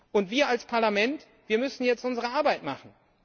Und wir als Parlament müssen jetzt unsere Arbeit machen.